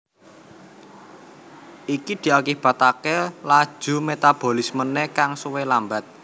Iki diakibataké laju metabolismené kang suwi lambat